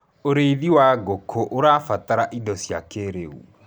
ũrĩithi wa ngũkũũrabatara indo cia kĩiriu